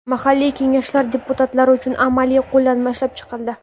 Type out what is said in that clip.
Mahalliy kengashlar deputatlari uchun amaliy qo‘llanma ishlab chiqildi.